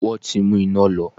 Wọn ti mú iná lọ.